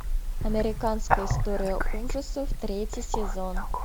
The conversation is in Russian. американская история ужасов третий сезон